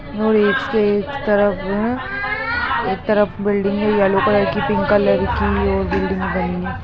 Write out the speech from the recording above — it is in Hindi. एक तरफ बिल्डिंग है येलो कलर की पिंक कलर की बिल्डिंग बनी है ।